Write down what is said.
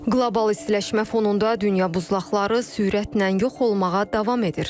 Qlobal istiləşmə fonunda dünya buzlaqları sürətlə yox olmağa davam edir.